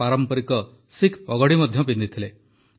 ସେ ପାରମ୍ପରିକ ଶିଖ୍ ପଗଡି ମଧ୍ୟ ପିନ୍ଧିଥିଲେ